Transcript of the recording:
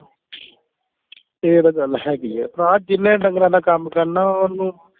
ਇਹ ਤਾਂ ਗੱਲ ਹੈਗੀ ਆ ਭਰਾ ਜਿਹਨੇ ਢੰਗਰਾਂ ਦਾ ਕੰਮ ਕਰਨਾ ਓਹਨੂੰ